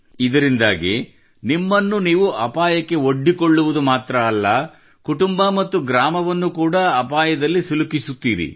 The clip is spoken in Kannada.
ಇದರಿಂದಾಗಿ ನಿಮ್ಮನ್ನು ನೀವು ಅಪಾಯಕ್ಕೆ ಒಡ್ಡಿಕೊಳ್ಳುವುದು ಮಾತ್ರವಲ್ಲದೇ ಕುಟುಂಬ ಮತ್ತು ಗ್ರಾಮವನ್ನು ಕೂಡಾ ಅಪಾಯದಲ್ಲಿ ಸಿಲುಕಿಸುತ್ತೀರಿ